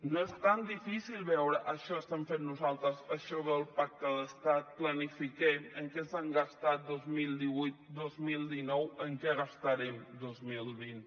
no és tan difícil veure això estem fent nosaltres això ve al pacte d’estat planifiquem en què s’han gastat dos mil divuit dos mil dinou en què gastarem dos mil vint